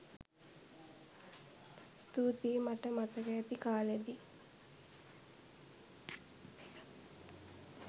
ස්තූතියි! මට මතක ඇති කාලෙදි